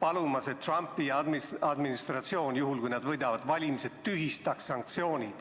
palumas, et Trumpi administratsioon, juhul kui nad valimised võidavad, tühistaks sanktsioonid.